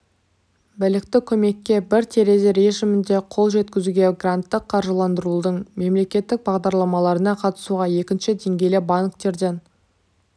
білікті көмекке бір терезе режімінде қол жеткізуде гранттық қаржыландырудың мемлекеттік бағдарламаларына қатысуға екінші деңгейлі банктерден